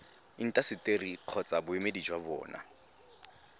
intaseteri kgotsa boemedi jwa bona